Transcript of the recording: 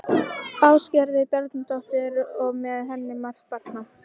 Ásgerði Bjarnardóttur og með henni margt barna.